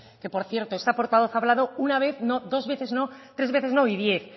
que por cierto esta portavoz ha hablado una vez no dos veces no tres veces no y diez